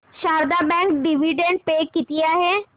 Sharda bank dividend pay किती आहे